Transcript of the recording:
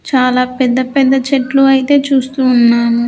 చాలా పెద్ద పెద్ద చెట్లు అయితే చూస్తూ ఉన్నాము.